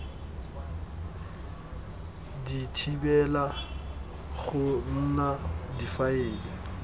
di thibela go nna difaele